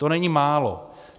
To není málo.